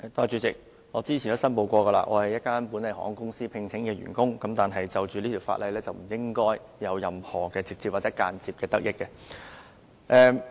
主席，我之前已申報，我是本地一家航空公司聘請的員工，但是，就着這條《2017年稅務條例草案》，我是不應該有任何或間接的得益。